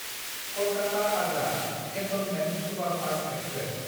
कलकाता–आग्रा cantonment superfast express